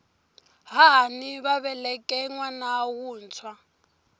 hahani va veleke nwana wuntshwa